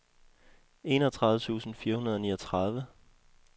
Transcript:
enogtredive tusind fire hundrede og niogtredive